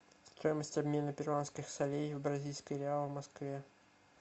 стоимость обмена перуанских солей в бразильские реалы в москве